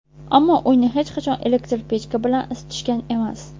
Ammo uyni hech qachon elektr pechka bilan isitishgan emas.